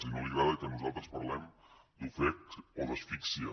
i no li agrada que nosaltres parlem d’ ofec o d’ asfíxia